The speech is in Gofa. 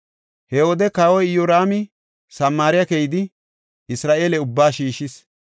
He wode kawoy Iyoraami Samaare keyidi, Isra7eele ubba shiishis.